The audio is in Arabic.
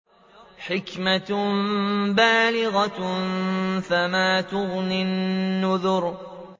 حِكْمَةٌ بَالِغَةٌ ۖ فَمَا تُغْنِ النُّذُرُ